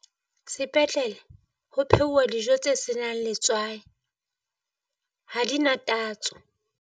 Sepetlele ho phehuwa dijo tse senang letswai ha di na tatso.